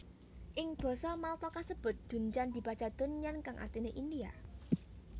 Ing basa Malta kasebut dundjan dibaca dondyan kang artiné India